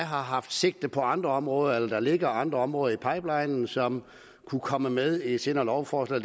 har haft sigte på andre områder eller om der ligger andre områder i pipelinen som kunne komme med i et senere lovforslag